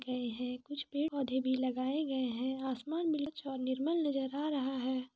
गए है कुछ पेड़ पोधे भी लगाये गए है आसमान निर्मल नजर आ रहा है।